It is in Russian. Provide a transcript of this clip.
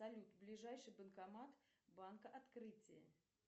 салют ближайший банкомат банка открытие